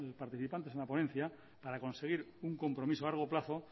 participantes en la ponencia para conseguir un compromiso a largo plazo